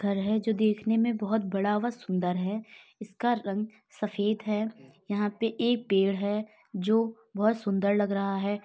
घर है जो देखने में बहुत बड़ा व सुंदर है। इसका रंग सफेद है यहां पे एक पेड़ है जो बहुत सुंदर लग रहा है।